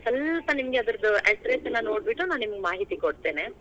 ಅದೇ ಸ್ವಲ್ವ ನಿಮಗೆ ಅದರ address ಎಲ್ಲಾ ನೋಡ್ಬಿಟ್ಟು ನಿಮಗೆ ಮಾಹಿತಿ ಕೊಡ್ತೇನೆ.